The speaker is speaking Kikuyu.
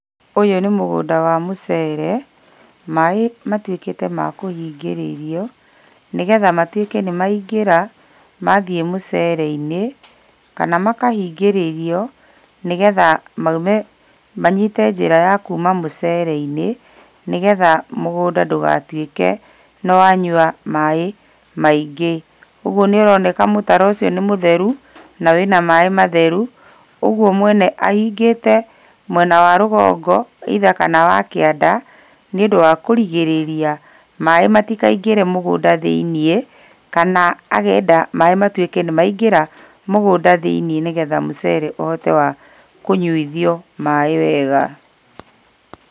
Ũyũ nĩ mũgũnda wa mũcere, maaĩ matuĩkĩte ma kũhingĩrĩrio, nĩgetha matuĩke nĩmaingĩra, mathiĩ mũcere-inĩ, kana makahingĩrĩrio, nĩgetha maume manyite njĩra ya kuuma mũcere-inĩ, nĩgetha mũgũnda ndũgatuĩke nĩwanyua maaĩ maingĩ. Ũguo nĩũroneka mũtaro ũcio nĩmũtheru, na wĩna maaĩ matheru, ũguo mwene ahingĩte mwena wa rũgongo either kana wa kĩanda, nĩũndũ wa kũrigĩrĩria maaĩ matikaingĩre mũgũnda thĩiniĩ, kana akenda maaĩ matuĩke nĩmaingĩra mũgũnda thĩiniĩ nĩgetha mũcere ũhote wa kũnyuithio maaĩ wega.